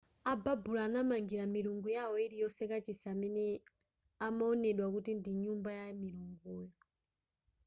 ababulo anamangira milungu yawo iliyonse kachisi amene amawonedwa kuti ndi nyumba ya milunguyo